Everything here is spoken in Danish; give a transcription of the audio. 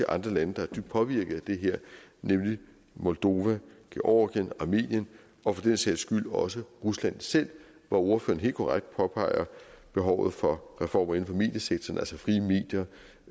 andre lande der er dybt påvirket at det her nemlig moldova georgien armenien og for den sags skyld også rusland selv hvor ordføreren helt korrekt påpeger behovet for reformer inden for mediesektoren altså frie medier